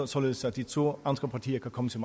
således at de to andre partier kan komme til